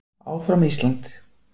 Áfram Ísland!